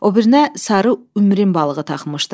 O birinə sarı ümrinin balığı taxmışdı.